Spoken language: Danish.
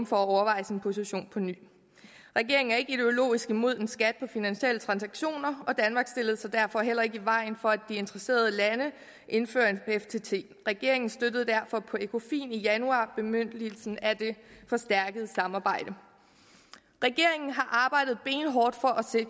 for at overveje sin position på ny regeringen er ikke ideologisk imod en skat på finansielle transaktioner og danmark stillede sig derfor heller ikke i vejen for at de interesserede lande indfører en ftt regeringen støttede derfor på ecofin mødet i januar bemyndigelsen af det forstærkede samarbejde regeringen har arbejdet benhårdt for